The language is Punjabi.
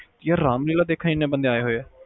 ਯਾਰ ਰਾਮਲੀਲਾ ਦੇਖਣ ਏਨੇ ਬੰਦੇ ਆਏ ਹੋਏ ਆ